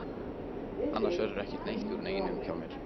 Annars verður ekki neitt úr neinu hjá mér.